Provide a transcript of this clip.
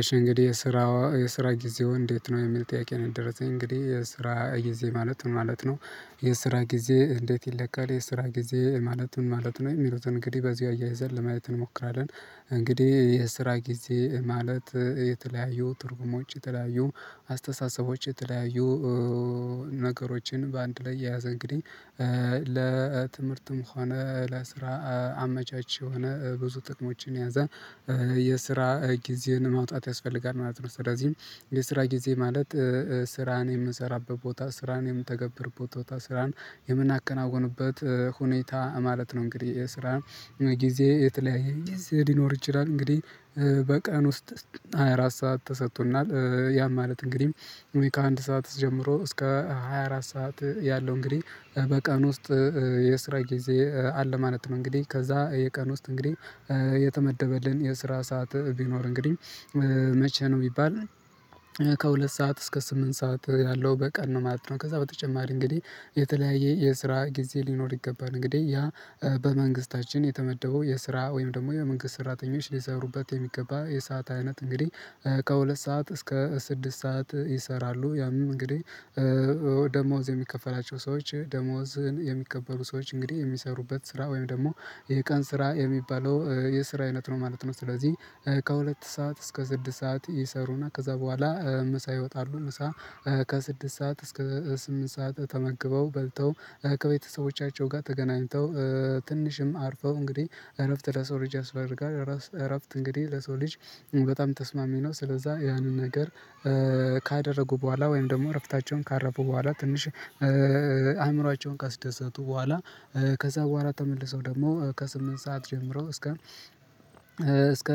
እሺ እንግዲህ የስራ የስራ ጊዜው እንዴት ነው የሚል ጥያቄ ነው የደረሰኝ እንግዲህ የስራ ጊዜ ማለት ምን ማለት ነው? የስራ ጊዜ እንዴት ይለካል የስራ ጊዜ ማለት ምን ማለት ነው የሚሉትን እንግዲህ በዚህ አያይዘን ለማየት እንሞክራለን። እንግዲህ የስራ ጊዜ ማለት የተለያዩ ትርጉሞች የተለያዩ አስተሳሰቦች የተለያዩ ነገሮችን በአንድ ላይ የያዘ እንግዲህ ለትምህርትም ሆነ ለስራ አመቻች የሆነ ብዙ ጥቅሞችን ያዘ የስራ ጊዜን ማውጣት ያስፈልጋል። ማለት ነው ስለዚህም የስራ ጊዜ ማለት ስራን የምሰራበት ቦታ ስራን የምተገብር ቦታ ስራን የምናከናውንበት ሁኔታ ማለት ነው። እንግዲህ የስራ ጊዜ የተለያየ ጊዜ ሊኖር ይችላል። እንግዲህ በቀን ውስጥ ሃያ አራት ሰዓት ተሰጥቶናል ያም ማለት እንግዲህ ከአንድ ሰዓት ጀምሮ እስከ ሃያ አራት ሰዓት ያለው እንግዲህ በቀን ውስጥ የስራ ጊዜ አለ ማለት ነው። እንግዲህ ከዛ የቀን ውስጥ እንግዲህ የተመደበልን የስራ ሰዓት ቢኖር እንግዲህ መቼ ነው የሚባል ከሁለት ሰዓት እስከ ስምንት ሰዓት ያለው በቀን ነው ማለት ነው። ከዛ በተጨማሪ እንግዲህ የተለያየ የስራ ጊዜ ሊኖር ይገባል። እንግዲህ ያ በመንግስታችን የተመደበው የስራ ወይም ደግሞ የመንግስት ሰራተኞች ሊሰሩበት የሚገባ የሰዓት አይነት እንግዲህ ከሁለት ሰዓት እስከ ስድስት ሰዓት ይሰራሉ። ያም እንግዲህ ደሞዝ የሚከፈላቸው ሰዎች ደሞዝን የሚቀበሉ ሰዎች እንግዲህ የሚሰሩበት ስራ ወይም ደግሞ ይሄ ቀን ስራ የሚባለው የስራ አይነት ነው ማለት ነው። ስለዚህ ከሁለት ሰዓት እስከ ስድስት ሰዓት ይሰሩና ከዛ በኋላ ምሳ ይወጣሉ። ምሳ ከስድስት ሰዓት እስከ ስምንት ሰዓት ተመግበው በልተው ከቤተሰቦቻቸው ጋር ተገናኝተው ትንሽም አርፈው እንግዲህ እረፍት ለሰው ልጅ ያስፈርጋል እረፍት እንግዲህ ለሰው ልጅ በጣም ተስማሚ ነው። ስለዛ ያንን ነገር ካደረጉ በኋላ ወይም ደግሞ እረፍታቸውን ካረፉ በኋላ ትንሽ አእምሮአቸውን ካስደሰቱ በኋላ ከዛ በኋላ ተመልሰው ደግሞ ከስምንት ሰዓት ጀምሮ እስከ እስከ